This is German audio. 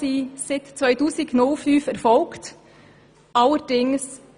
Seit 2005 erfolgten 34 Fusionen.